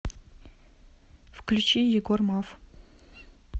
включи егор маф